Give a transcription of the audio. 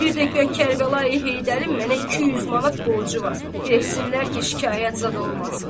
Və bir də ki, Kərbəlayi Heydərin mənə 200 manat borcu var, versinlər ki, şikayət zad olmasın.